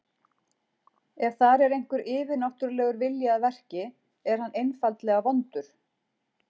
Ef þar er einhver yfirnáttúrulegur vilji að verki, er hann einfaldlega vondur.